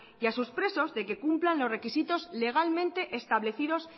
y a sus presos de que cumplan los requisitos legalmente establecidos